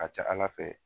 A ka ca ala fɛ